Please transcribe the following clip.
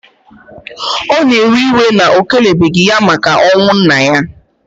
O na ewe iwe na o kelebeghi ya maka onwu nna ya.